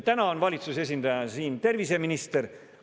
Täna on valitsuse esindajana siin terviseminister.